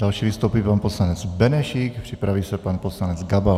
Další vystoupí pan poslanec Benešík, připraví se pan poslanec Gabal.